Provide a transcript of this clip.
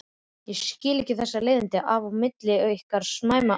Skil ekki þessi leiðindi á milli ykkar Sæma alltaf.